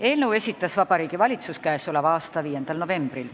Eelnõu esitas Vabariigi Valitsus 5. novembril.